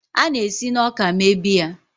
A na-esi na ọka mee biya.